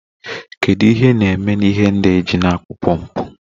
Kedu ihe ị na-eme na ihe ndị a eji na-akụ pọmpụ?